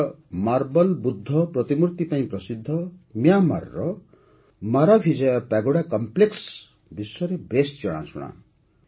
ନିଜର ମାର୍ବଲ୍ ବୁଦ୍ଧ ପ୍ରତିମୂର୍ତ୍ତି ପାଇଁ ପ୍ରସିଦ୍ଧ ମ୍ୟାଁମାର୍ର ମାରାଭିଜୟା ପାଗୋଡ଼ା କମ୍ପ୍ଲେକ୍ସ ବିଶ୍ୱରେ ବେଶ୍ ଜଣାଶୁଣା